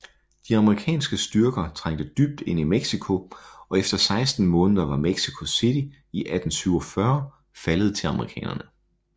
De amerikanske styrker trængte dybt ind i Mexico og efter 16 måneder var Mexico City i 1847 faldet til amerikanerne